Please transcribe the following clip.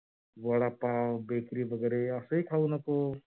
वडा पाव बेकरीत वैगेरे अस हि खाऊ नको.